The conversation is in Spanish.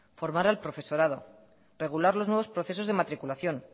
formar al profesorado regular los nuevos procesos de matriculación